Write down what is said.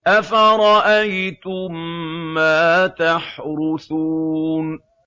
أَفَرَأَيْتُم مَّا تَحْرُثُونَ